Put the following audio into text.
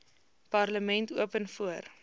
parlement open voor